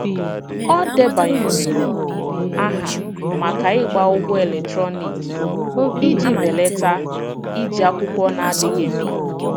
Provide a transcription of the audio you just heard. Ọ debanyere aha maka ịgba ụgwọ eletrọniki iji belata iji akwụkwọ na-adịghị mkpa.